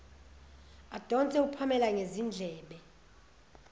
adonse upamela ngezindlebe